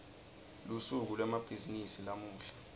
lusuku lwemabhizimisi lamuhla